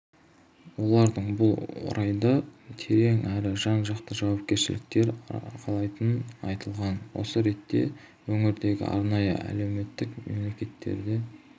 олардың бұл орайда терең әрі жан-жақты жауапкершіліктер арқалайтыны айтылған осы ретте өңірдегі арнайы әлеуметтік мекемелерден